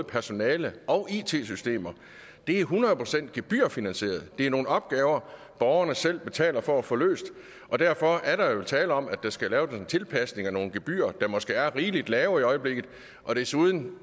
personalet og it systemer er hundrede procent gebyrfinansieret det er nogle opgaver borgerne selv betaler for at få løst og derfor er der jo tale om at der skal laves en tilpasning af nogle gebyrer der måske er rigeligt lave i øjeblikket desuden